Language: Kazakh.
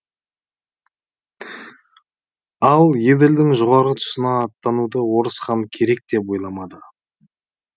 ал еділдің жоғарғы тұсына аттануды орыс хан керек деп ойламады